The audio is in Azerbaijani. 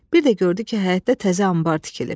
Bir də gördü ki, həyətdə təzə anbar tikilib.